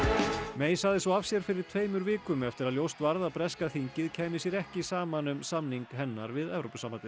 May sagði svo af sér fyrir tveimur vikum eftir að ljóst varð að breska þingið kæmi sér ekki saman um samning hennar við Evrópusambandið